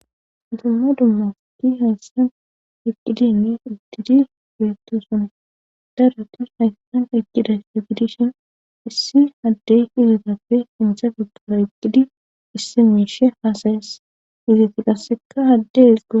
Utumma dummasti heyssan iqqidinne idtidi beettusun daratus haysan aeqkida tigidishin issi addey izitappe intha figara iqqidi issi miishe haasayes iziti qasseka haddez go..